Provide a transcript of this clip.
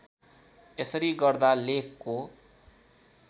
यसरी गर्दा लेखको